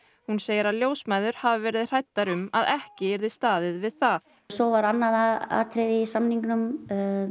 hún segir að ljósmæður hafi verið hræddar um að ekki yrði staðið við það svo var annað atriði í samningnum